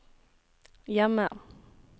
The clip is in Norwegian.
hjemme